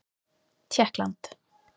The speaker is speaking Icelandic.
Tékkland